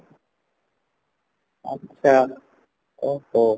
ଆଚ୍ଛା ଓହୋ